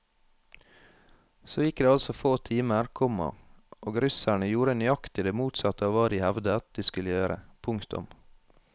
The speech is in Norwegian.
Så gikk det altså få timer, komma og russerne gjorde nøyaktig det motsatte av hva de hevdet de skulle gjøre. punktum